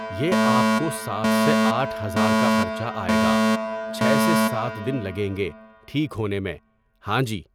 یہ آپ کو سات سے آٹھ ہزار کا خرچہ آئے گا، چھ سے سات دِن لگیں گے ٹھیک ہونے میں، ہاں جی۔